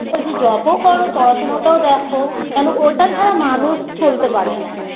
বলছি job -ও করো পড়াশুনাটাও দেখো কেনো ওটা ছাড়া মানুষ চলতে পারে না